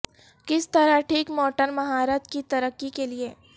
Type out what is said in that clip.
کس طرح ٹھیک موٹر مہارت کی ترقی کے لئے